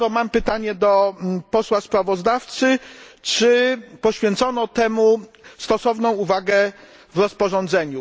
Dlatego mam pytanie do posła sprawozdawcy czy poświęcono temu stosowną uwagę w rozporządzeniu?